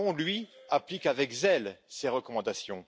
Macron, lui, applique avec zèle ces recommandations.